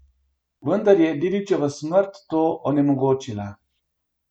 Vendar je Dedićeva smrt to onemogočila.